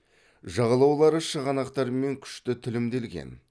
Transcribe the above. жағалаулары шығанақтармен күшті тілімделген